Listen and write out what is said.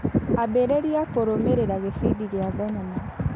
Ambĩrĩria kũrũmĩrĩra gĩbindi gĩa thinema .